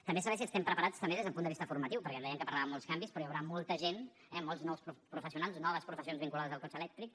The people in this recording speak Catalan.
també saber si estem preparats també des d’un punt de vista formatiu perquè dèiem que parlàvem de molts canvis però hi haurà molta gent eh molts nous professionals noves professions vinculades al cotxe elèctric